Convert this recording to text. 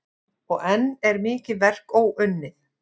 Og enn er mikið verk óunnið.